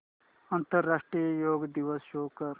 आंतरराष्ट्रीय योग दिवस शो कर